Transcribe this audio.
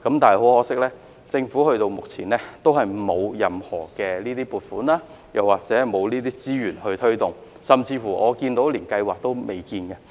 但很可惜，政府直到目前也沒有任何撥款或資源推動，甚至連計劃也未有。